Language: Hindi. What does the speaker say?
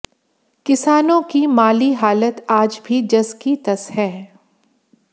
किसानों की माली हालत आज भी जस की तस है